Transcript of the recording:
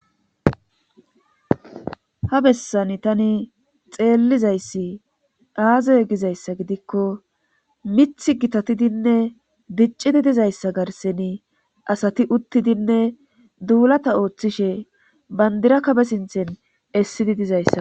Ha bessani tani xeellizayssi aazey gizayssa gidikko mith gitatidinne diccidi dizayssa garseni asati uttidinne duulata ooththishe bandirakabe sinthen essidi dizayssa.